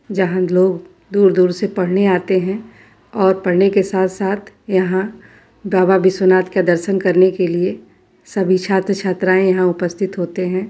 जहाँ लोग दूर दूर से पढ़ने आते हैं और पढ़ने के साथ साथ यहाँ बाबा बिस्व नाथ के दर्शन करने के लिए सभी छात्र छात्राएं यहाँ उपस्तित होते है।